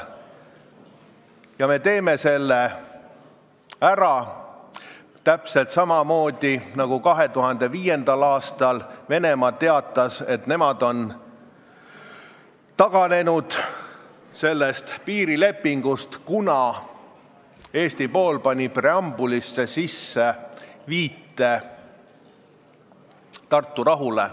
Ja me teeme selle ära, täpselt samamoodi, nagu Venemaa 2005. aastal teatas, et nemad on sellest piirilepingust taganenud, kuna Eesti pool pani preambulisse viite Tartu rahule.